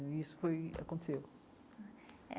E isso foi aconteceu.